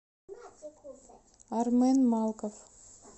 армен малков